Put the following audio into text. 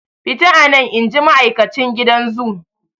Fita anan!inji ma'aikacin gidan zoo.